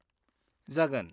जागोन।